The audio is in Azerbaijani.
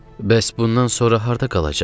Bəs bundan sonra harda qalacaqsız?